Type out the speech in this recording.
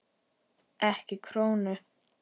Ekki krónu!